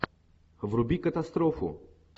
вруби катастрофу